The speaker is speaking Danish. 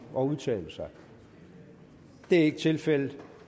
at udtale sig det er ikke tilfældet